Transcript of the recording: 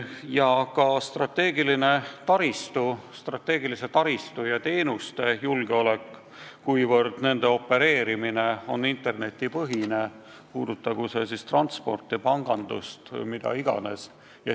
Edasi: strateegiline taristu, strateegilise taristu ja sellega seotud teenuste julgeolek, kuivõrd nendega opereerimine on internetipõhine, puudutagu see transporti, pangandust või mida iganes.